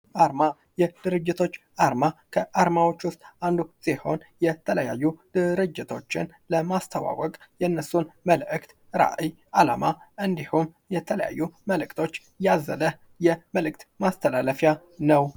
አርማ የድርጅቶች አርማ ከአርማዎቹ ውስጥ አንዱ ሲሆን የተለያዩ ድርጅቶችን ለማስታወቅ የነሱን መልእክት ፣ራዕይ፣ አላማ እንዲሆን እንዲሁም የተለያዩ መልእክቶች ያዘለ የመልእክት ማስተላለፊያ ነው።